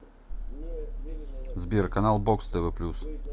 сбер канал бокс тв плюс